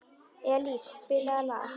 Elís, spilaðu lag.